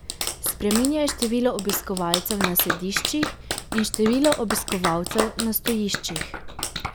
Spreminjaj število obiskovalcev na sediščih in število obiskovalcev na stojiščih.